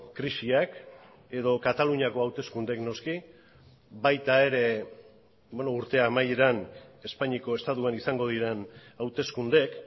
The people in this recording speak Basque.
krisiak edo kataluniako hauteskundeek noski baita ere urte amaieran espainiako estatuan izango diren hauteskundeek